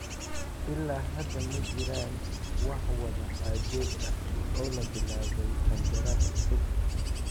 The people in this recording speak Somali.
Ilaa hadda ma jiraan wax wada xaajood ah oo la bilaabay qandaraas cusub.